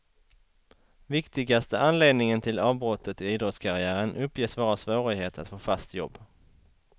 Viktigaste anledningen till avbrottet i idrottskarriären uppges vara svårighet att få fast jobb.